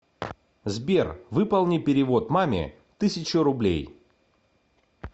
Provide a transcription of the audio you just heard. сбер выполни перевод маме тысячу рублей